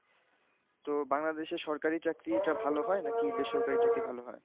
তো বাংলাদেশে সরকারি চাকরিটা ভালো হয় নাকি, বেসরকারি চাকরি ভালো হয়?